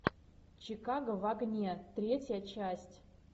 чикаго в огне третья часть